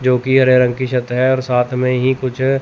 जो की हरे रंग की छत है और साथ में ही कुछ --